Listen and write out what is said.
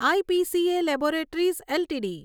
IPCA laboratories LTD